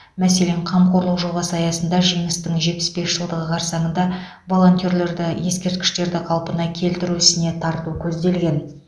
мәселен қамқорлық жобасы аясында жеңістің жетпіс бес жылдығы қарсаңында волонтерлерді ескерткіштерді қалпына келтіру ісіне тарту көзделген